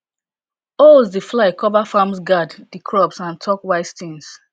owls dey fly cova farms guard di crops and talk wise tins